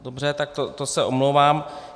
Dobře, tak to se omlouvám.